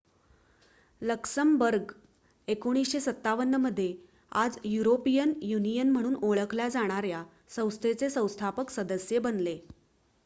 Luxembourg १९५७ मध्ये आज European Union म्हणून ओळखल्या जाणाऱ्या संस्थेचे संस्थापक सदस्य बनले